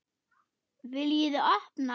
VILJIÐI OPNA!